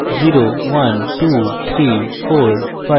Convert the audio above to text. এটি হল 0 1 2 3 4 5 6